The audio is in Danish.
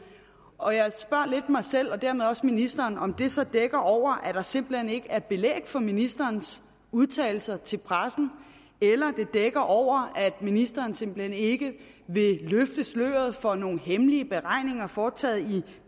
og jeg spørger lidt mig selv og dermed også ministeren om det så dækker over at der simpelt hen ikke er belæg for ministerens udtalelser til pressen eller det dækker over at ministeren simpelt hen ikke vil løfte sløret for nogle hemmelige beregninger foretaget i